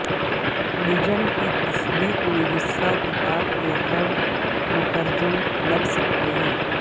legend کی تخلیق میں حصہ کتاب کے ہر مترجم لگ سکتے ہیں